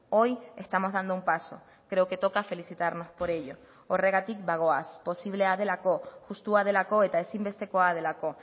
hoy estamos dando un paso creo que toca felicitarnos por ello horregatik bagoaz posiblea delako justua delako eta ezinbestekoa delako